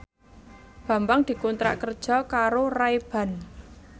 Bambang dikontrak kerja karo Ray Ban